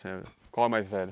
Qual é o mais velho?